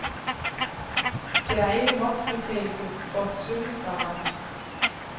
Der er ikke momsfritagelse for sølvvarer.